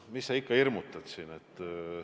Mis sa siin ikka hirmutad!